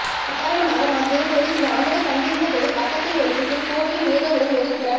உதாரணமாக நான் திருப்பூரில் சில ஆண்டுகள் தங்கியிருந்த போது பக்கத்தில் ஒரு ஷெட்டில் கோவையின் ஏதோ ஒரு ஒதுக்குப்புற